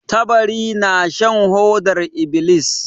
Tabari na shan hodar ibilis.